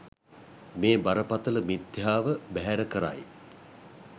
මේ බරපතළ මිථ්‍යාව බැහැර කරයි.